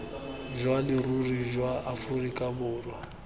jwa leruri jwa aforika borwa